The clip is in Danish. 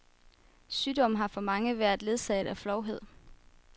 Sygdommen har for mange været ledsaget af flovhed.